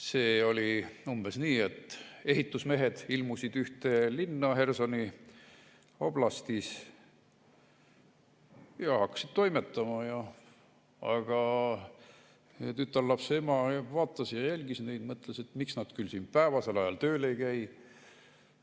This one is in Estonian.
See oli umbes nii, et ehitusmehed ilmusid ühte linna Hersoni oblastis ja hakkasid toimetama, aga ühe tütarlapse ema vaatas neid ja jälgis, mõtles, et miks nad küll päevasel ajal tööl ei käi.